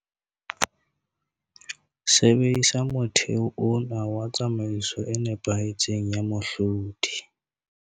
Sebedisa motheo ona wa tsamaiso e nepahetseng ya mohlodi